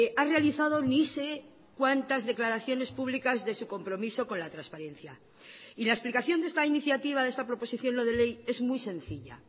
ha realizado ni sé cuantas declaraciones públicas de su compromiso con la transparencia y la explicación de esta iniciativa de esta proposición no de ley es muy sencilla